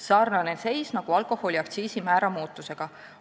Sarnane seis nagu alkoholiaktsiisi määra muutusega.